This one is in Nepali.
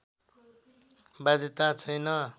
बाध्यता छैन